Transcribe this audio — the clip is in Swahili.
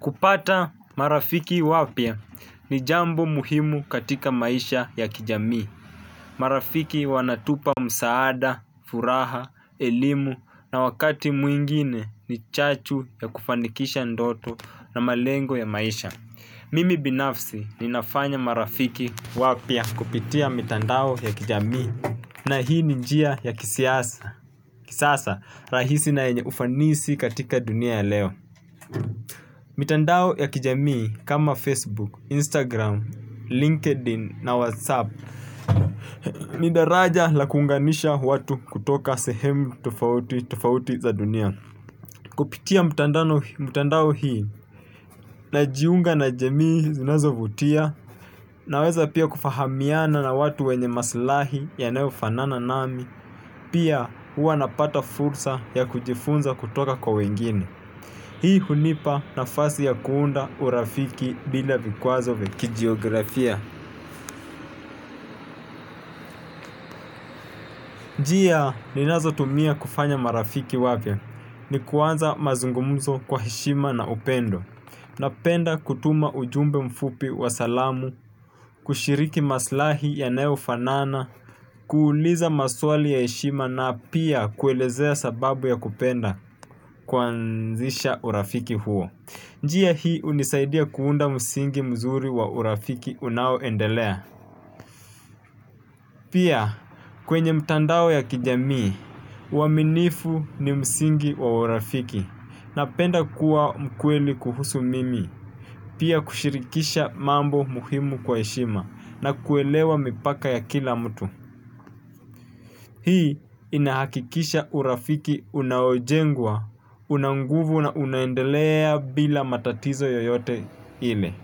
Kupata marafiki wapya ni jambo muhimu katika maisha ya kijamii. Marafiki wanatupa msaada, furaha, elimu na wakati mwingine ni chachu ya kufanikisha ndoto na malengo ya maisha. Mimi binafsi ninafanya marafiki wapya kupitia mitandao ya kijamii. Na hii ni njia ya kisasa rahisi na yenye ufanisi katika dunia ya leo. Mitandao ya kijamii kama Facebook, Instagram, LinkedIn na Whatsapp. Ni daraja la kuunganisha watu kutoka sehemu tofauti tofauti za dunia. Kupitia mtandao hii najiunga na jamii zinazovutia. Naweza pia kufahamiana na watu wenye maslahi yanayofanana nami. Pia huwa napata fursa ya kujifunza kutoka kwa wengine. Hii hunipa nafasi ya kuunda urafiki bila vikwazo vya kijiografia. Njia ninazotumia kufanya marafiki wapya ni kuanza mazungumzo kwa heshima na upendo. Napenda kutuma ujumbe mfupi wa salamu, kushiriki maslahi yanayofanana, kuuliza maswali ya heshima na pia kuelezea sababu ya kupenda kuanzisha urafiki huo. Njia hii unisaidia kuunda msingi mzuri wa urafiki unaoendelea. Pia kwenye mtandao ya kijamii, uaminifu ni msingi wa urafiki napenda kuwa mkweli kuhusu mimi. Pia kushirikisha mambo muhimu kwa heshima na kuelewa mipaka ya kila mtu. Hii inahakikisha urafiki unaojengwa, una nguvu na unaendelea bila matatizo yoyote ile.